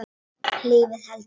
Lífið heldur áfram.